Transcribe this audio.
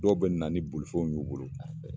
Dɔw be na ni bolifɛnw ye u bolo